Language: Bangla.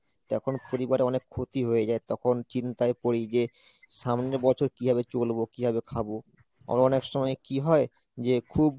তখন পরিবারে অনেক ক্ষতি হয়ে যায় তখন চিন্তায় পড়ি যে সামনের বছর কিভাবে চলবো? কিভাবে খাবো আবার অনেক সময় কি হয় যে খুব